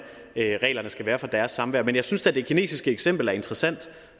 reglerne skal være for deres samvær men jeg synes da det kinesiske eksempel er interessant